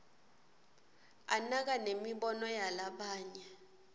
anaka nemibono yalabanye